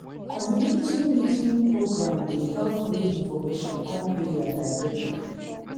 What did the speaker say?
community meeting program dey help bring information come area directly.